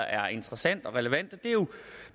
er interessant og relevant og det er jo